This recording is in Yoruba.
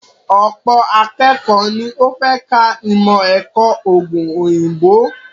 Ọ̀pọ̀ akékọ̀ọ́ ni ó fẹ́ ka ìmọ̀-ẹ̀kọ́ òògùn òyìnbó.